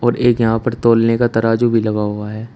एक यहां पर तौलने का तराजू भी लगा हुआ है।